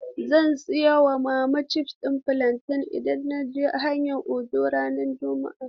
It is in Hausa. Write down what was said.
Zan sayin wa mama chips ɗin fulanten idan naje Hayin Ojo ranar juma'a.